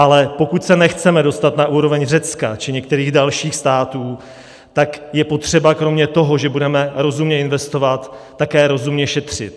Ale pokud se nechceme dostat na úroveň Řecka či některých dalších států, tak je potřeba kromě toho, že budeme rozumně investovat, také rozumně šetřit.